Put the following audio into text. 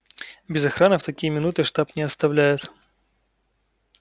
без охраны в такие минуты штаб не оставляют